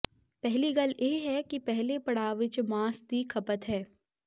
ਪਹਿਲੀ ਗੱਲ ਇਹ ਹੈ ਕਿ ਪਹਿਲੇ ਪੜਾਅ ਵਿਚ ਮਾਸ ਦੀ ਖਪਤ ਹੈ